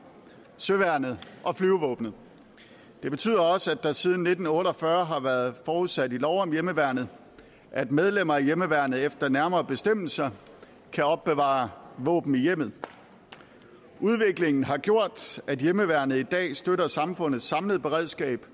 søværnet og flyvevåbnet det betyder også at det siden nitten otte og fyrre har været forudsat i lov om hjemmeværnet at medlemmer af hjemmeværnet efter nærmere bestemmelser kan opbevare våben i hjemmet udviklingen har gjort at hjemmeværnet i dag støtter samfundets samlede beredskab